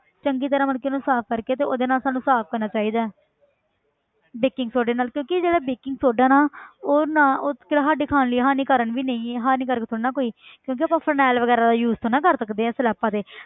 ਚੰਗੀ ਤਰ੍ਹਾਂ ਮਤਲਬ ਕਿ ਉਹਨੂੰ ਸਾਫ਼ ਕਰਕੇ ਤੇ ਉਹਦੇ ਨਾਲ ਸਾਨੂੰ ਸਾਫ਼ ਕਰਨਾ ਚਾਹੀਦਾ ਹੈ baking soda ਨਾਲ ਕਿਉਂਕਿ ਜਿਹੜਾ baking soda ਨਾ ਉਹ ਨਾ ਉਹ ਤੇ ਸਾਡੇ ਖਾਣ ਲਈ ਹਾਨੀਕਾਰਨ ਵੀ ਨਹੀਂ ਹਾਨੀਕਾਰਕ ਥੋੜ੍ਹੀ ਨਾ ਕੋਈ ਕਿਉਂਕਿ ਆਪਾਂ phenyl ਵਗ਼ੈਰਾ ਦਾ use ਥੋੜ੍ਹੀ ਨਾ ਕਰ ਸਕਦੇ ਹਾਂ ਸਲੈਬਾਂ ਤੇ